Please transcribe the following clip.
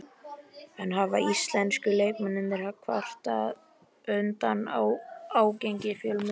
En hafa íslensku leikmennirnir kvartað undan ágengni fjölmiðla?